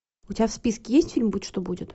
у тебя в списке есть фильм будь что будет